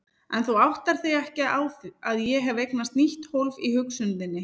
En þú áttar þig ekki á að ég hef eignast nýtt hólf í hugsun þinni.